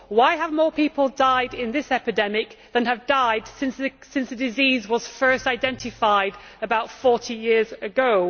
Why have more people died in this epidemic than have died since the disease was first identified about forty years ago?